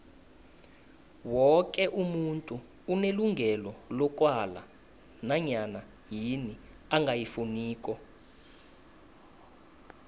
woke umuntu unelungelo lokwala nanyana yini angayifuniko